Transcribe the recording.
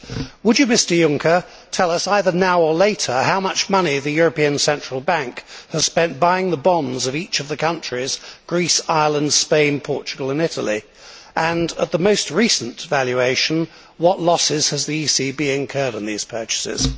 Would you, Mr Juncker, tell us either now or later how much money the European Central Bank has spent buying the bonds of each of these countries Greece, Ireland, Spain, Portugal and Italy and, at the most recent valuation, what losses the ECB has incurred on these purchases?